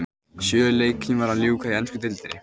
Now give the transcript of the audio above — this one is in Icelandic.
Sjö leikjum var að ljúka í ensku deildinni.